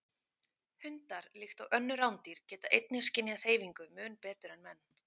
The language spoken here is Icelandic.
Hundar, líkt og önnur rándýr, geta einnig skynjað hreyfingu mun betur en menn.